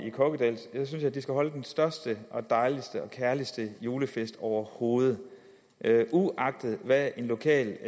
i kokkedal synes jeg at de skal holde den største og dejligste og kærligste julefest overhovedet uagtet hvad en lokal